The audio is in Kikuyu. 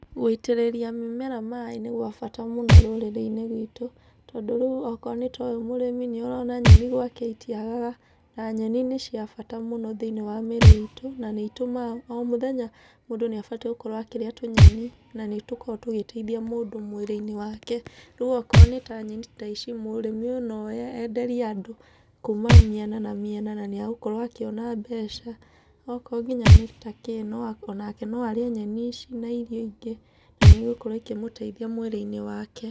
Gũitĩrĩria mĩmera maĩ nĩ gwa bata mũno rũrĩrĩ-inĩ rwitũ. Tondũ rĩu okorwo nĩ ta ũyũ mũrĩmi nĩ ũrona nyeni gwake itiagaga. Na nyeni nĩ cia bata mũno thĩiniĩ wa mĩĩrĩ itũ, na nĩ itũmaga. O mũthenya mũndũ nĩ abatiĩ gũkorwo akĩrĩa tũnyeni, na nĩ tũkoragwo tũgĩteithia mũndũ mwĩrĩ-inĩ wake. Rĩu okorwo nĩ ta nyeni ta ici, mũrĩmi ũyũ no oe, enderie andũ kuuma mĩena na mĩena na nĩ egũkorwo akĩona mbeca. Okorwo nginya nĩ kĩndũ ta kĩ, onake no arĩe nyeni ici na irio ingĩ na nĩ igũkorwo ikĩmũteithia mwĩrĩ-inĩ wake.